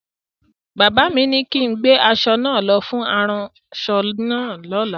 Bàbá mi ni kin gbé aṣọ náà lọ fún aránṣọ náà lọ́la!